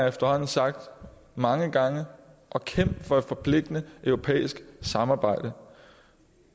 efterhånden sagt mange gange og kæmp for et forpligtende europæisk samarbejde